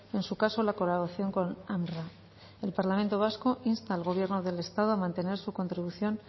en su caso la colaboración con unrwa el parlamento vasco insta al gobierno del estado a mantener su contribución